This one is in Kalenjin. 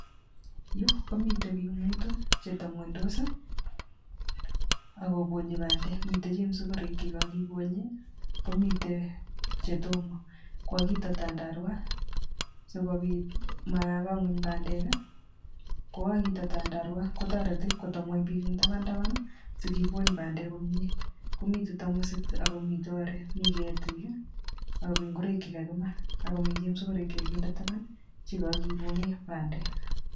Yu komiten bik mutu chetepkwonytos akk kobonyi pandeek. Mitei chemasikorek chekakibonye, akomitei chetomo. Kakiito tandarwa sikobit maba ngweny pandeek. kokakeito tandarwa kotoreti ko tebingweny bik eng taban taban sikibony pandeek komie . Akomitei tamosit akomitei ketik akomitei chemasikorek chekakibonye